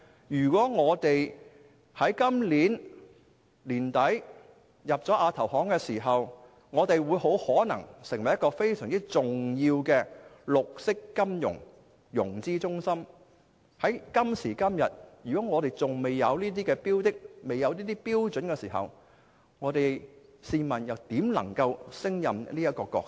如果香港在今年年底加入亞投行，大有可能成為非常重要的綠色金融融資中心，但如果我們至今仍未有這些標準，試問怎能勝任這個角色？